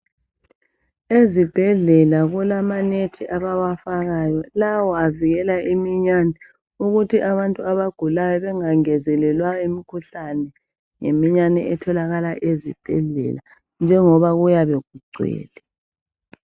Ezibhedlela kulama net abawafakayo avikela iminyane ukuthi abantu abagulayo bengangezelelwa imikhuhlane yiminyane etholakala ezibhedlela njengoba kuyabe kugcwele